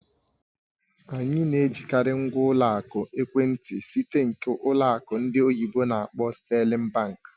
Anyị na-ejikarị ngwa ụlọ akụ ekwentị site nke ụlọ akụ ndị oyibo n'akpọ "Sterling Bank"